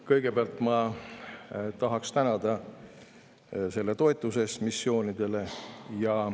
Kõigepealt ma tahaksin tänada selle toetuse eest missioonidele.